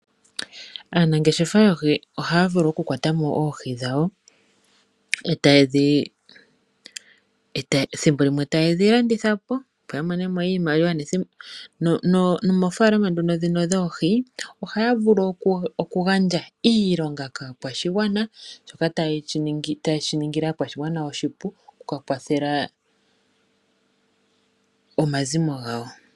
Aanangeshefa yoohi ohaya vulu oku kwatamo oohi dhawo, thimbo limwe tayedhi landitha po opo ya monemo iimaliwa nomoofaalama dhono dhino dhoohi ohaya vulu oku gandja iilonga kaakwashigwana shoka tayeshi ningile aakwashigwana shiya ningile oshipu okuka kwathela omazimo gawo.